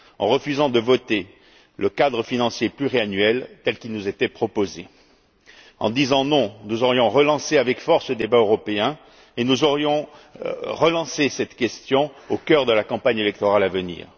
En refusant de voter le cadre financier pluriannuel tel qu'il nous était proposé, en disant non, nous aurions relancé avec force le débat européen et nous aurions relancé cette question au cœur de la campagne électorale à venir.